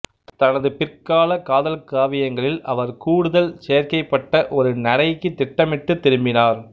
தனது பிற்கால காதல்காவியங்களில் அவர் கூடுதல் செயற்கைப்பட்ட ஒரு நடைக்குத் திட்டமிட்டு திரும்பினார்